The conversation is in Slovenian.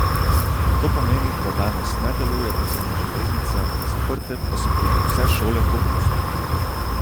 To pomeni, da danes ne deluje podzemna železnica, zaprte pa so tudi vse šole po Bruslju.